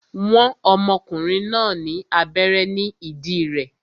Wọ́n ọmọkùnrin náà ní abẹ́rẹ́ ní ìdí rẹ̀